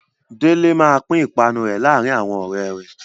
Délé máa pín ìpanu rẹ̀ láàárin àwọn ọ̀rẹ́ rẹ̀.